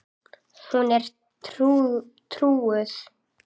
Hún er trúuð.